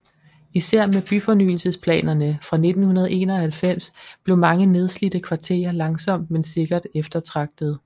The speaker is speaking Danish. Især med byfornyelsesplanerne fra 1991 blev mange nedslidte kvarterer langsomt men sikkert eftertragtede